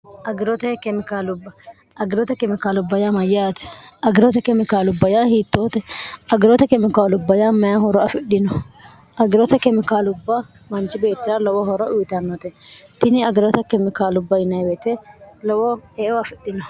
agirote kemikaalubba agirote kemikaalubba ya mayyaate agirote kemikaalubba yaa hiittoote agirote kemikaalubba ya maya horo afidhino agirote kemikaalubba manchi beettira lowo horo uyitannote tini agirote kemikaalubba inewete lowo meo afidhino